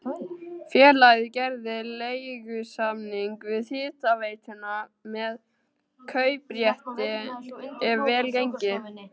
Félagið gerði leigusamning við hitaveituna með kauprétti ef vel gengi.